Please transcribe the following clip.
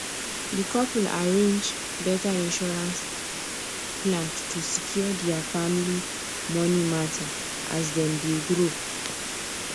di couple arrange better insurance plan to secure their family money matter as dem dey grow